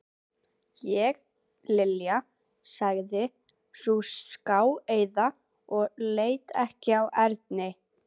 Ég Linja sagði sú skáeygða og leit ekki við Erni.